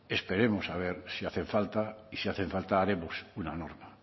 esperemos a ver si hacen falta y si hacen falta haremos una norma